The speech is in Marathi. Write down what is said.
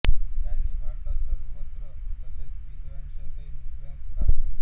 त्यांनी भारतात सर्वत्र तसेच विदेशांतही नृत्याचे कार्यक्रम केले